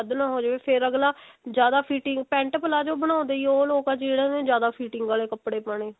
ਉਹ ਨਾ ਹੋ ਜਾਵੇ ਫੇਰ ਅੱਗਲਾ ਜਿਆਦਾ fitting pent palazzo ਬਣਾਉਂਦੇ ਹੀ ਉਹ ਲੋਕ ਹੈ ਜਿੰਨਾ ਨੇ ਜਿਆਦਾ fitting ਆਲੇ ਕੱਪੜੇ ਪਾਉਣੇ ਹੈ